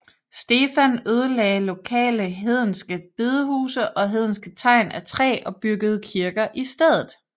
Stefan ødelagde lokale hedenske bedehuse og hedenske tegn af træ og byggede kirker i stedet